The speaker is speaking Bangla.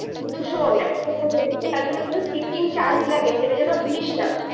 কিন্তু শুন একটা কথা বলি ওটার জন্য কিন্তু sitting charge লাগে সেটা যেনো ভুলিসনা